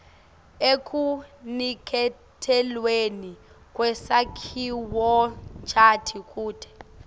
ekuniketelweni kwesakhiwonchanti kute